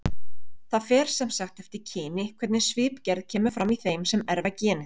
Það fer sem sagt eftir kyni hvernig svipgerð kemur fram í þeim sem erfa genið.